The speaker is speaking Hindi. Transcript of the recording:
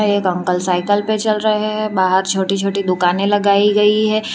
एक अंकल साइकिल पर चल रहे हैं बाहर छोटी छोटी दुकानें लगाई गई है।